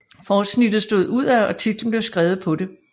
Forsnittet stod udad og titlen blev skrevet på det